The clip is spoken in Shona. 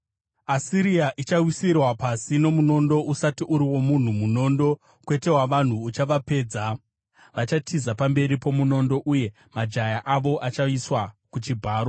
“Asiria ichawisirwa pasi nomunondo usati uri womunhu; munondo, kwete wavanhu, uchavapedza. Vachatiza pamberi pomunondo uye majaya avo achaiswa kuchibharo.